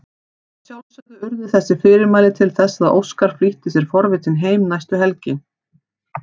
Að sjálfsögðu urðu þess fyrirmæli til þess að Óskar flýtti sér forvitinn heim næstu helgi.